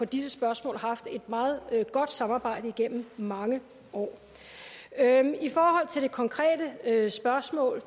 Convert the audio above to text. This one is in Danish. disse spørgsmål haft et meget godt samarbejde igennem mange år i forhold til det konkrete spørgsmål